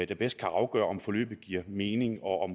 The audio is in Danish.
der bedst kan afgøre om forløbet giver mening og